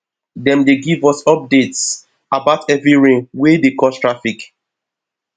dem dey give us updates about heavy rain wey dey cause traffic